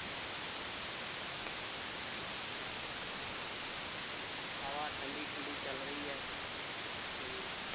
ਹਵਾ ਠੰਢੀ ਠੰਢੀ ਚੱਲ ਰਹੀ ਹੈ ਤੇ